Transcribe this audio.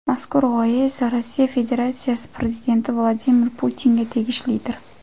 Mazkur g‘oya esa Rossiya Federatsiyasi Prezidenti Vladimir Putinga tegishlidir.